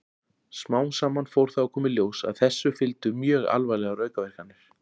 Smám saman fór þó að koma í ljós að þessu fylgdu mjög alvarlegar aukaverkanir.